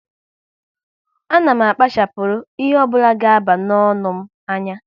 A na m akpachapuru ihe ọ bụla ga aba n'ọnụ m anya